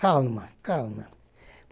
Calma, calma.